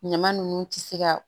Ɲama nunnu ti se ka